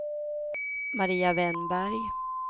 Maria Wennberg